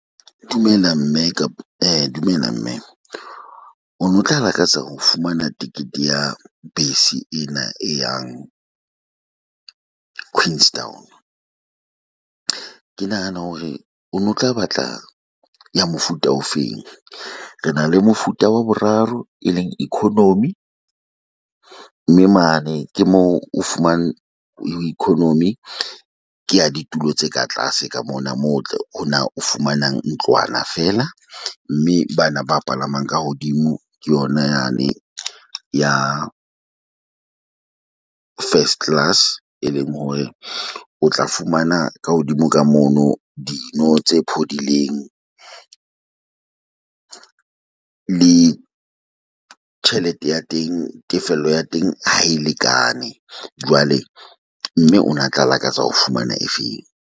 Dumela mme e dumela mme, o no tla lakatsa ho fumana ticket ya bese ena e yang Queenstown? Ke nahana hore o no tla batla ya mofuta ofeng. Re na le mofuta wa boraro e leng economy, mme mane ke moo o fumane ho economy. Kea ditulo tse ka tlase ka mona moo tle ho na o fumanang ntlwana feela mme bana ba palamang ka hodimo ke yona yane ya first class. E leng hore o tla fumana ka hodimo ka mono dino tse phodileng le tjhelete ya teng. Tefello ya teng ha e lekane jwale mme o na tla lakatsa ho fumana efeng?